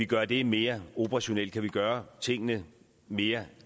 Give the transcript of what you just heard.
gøre det mere operationelt kan vi gøre tingene mere